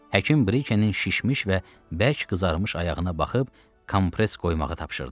Həkim Brikenin şişmiş və bərk qızarmış ayağına baxıb kompres qoymağı tapşırdı.